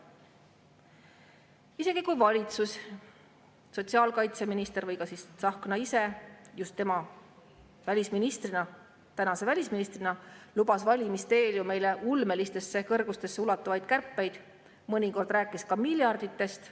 Isegi kui valitsus, sotsiaalkaitseminister või ka Tsahkna ise – just tema, kes on täna välisminister, lubas valimiste eel ju meile ulmelistesse kõrgustesse ulatuvaid kärpeid, mõnikord rääkis ka miljarditest ...